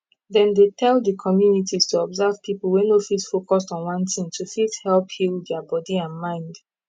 dem tell d communities to observe people wey no fit focus on one thing to fit help heal dia body and mind